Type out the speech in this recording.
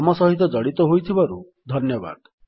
ଆମ ସହିତ ଜଡ଼ିତ ହୋଇଥିବାରୁ ଧନ୍ୟବାଦ